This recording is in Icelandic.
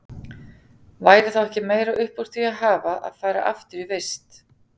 Væri þá ekki meira upp úr því að hafa að fara aftur í vist?